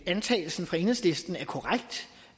antagelsen fra enhedslisten er korrekt